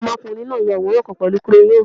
Ọmọkunrin na ya aworan kan pẹlu crayons